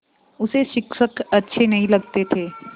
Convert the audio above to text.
उसे शिक्षक अच्छे नहीं लगते थे